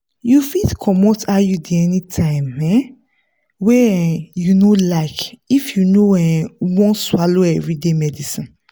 you fit comot iud anytime um wey um you like if you no um wan swallow everyday medicines.